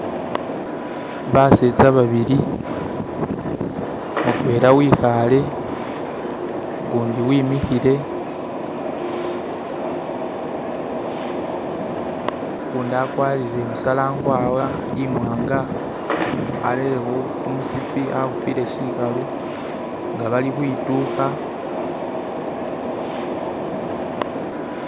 basetya babilimutwela wihale gundi wimihile gundi akwarire musala nkwawa imwanga arereho kumusipi ahupile shihalu nga bali hwiduha